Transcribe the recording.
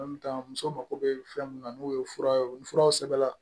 muso mako bɛ fɛn mun na n'o ye fura ye ni furaw sɛbɛnna